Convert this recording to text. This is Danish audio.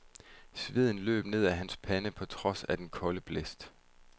Sveden løb ned ad hans pande på trods af den kolde blæst.